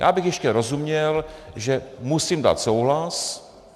Já bych ještě rozuměl, že musím dát souhlas.